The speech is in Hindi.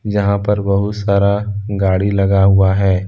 जहां पर बहुत सारा गाड़ी लगा हुआ है।